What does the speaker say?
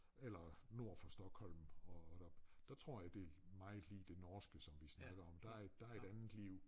Eller nord for Stockholm og op der tror jeg det meget lig det norske som vi snakker om der et der et andet liv